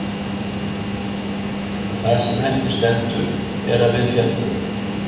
En það sem eftir stendur er að við féllum.